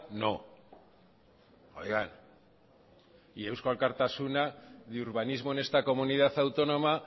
no oigan y eusko alkartasuna ni urbanismo en esta comunidad autónoma